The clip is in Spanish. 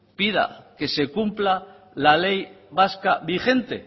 pida que se cumpla la ley vasca vigente